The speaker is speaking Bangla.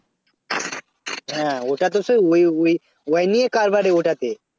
হ্যাঁ ওটা তো সেই ওই ওই~ ওই নিয়ে কারবার রে ওটাতে